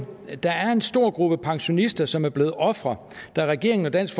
der er en stor gruppe pensionister som er blevet ofre da regeringen og dansk